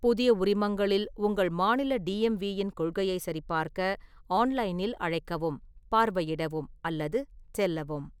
புதிய உரிமங்களில் உங்கள் மாநில டிஎம்வி இன் கொள்கையைச் சரிபார்க்க ஆன்லைனில் அழைக்கவும், பார்வையிடவும் அல்லது செல்லவும்.